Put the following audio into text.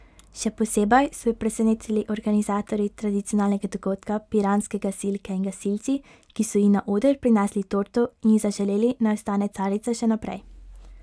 Še posebej so jo presenetili organizatorji tradicionalnega dogodka, piranske gasilke in gasilci, ki so ji na oder prinesli torto in ji zaželeli, naj ostane carica še naprej.